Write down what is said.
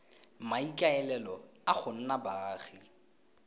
maikaelelo a go nna baagi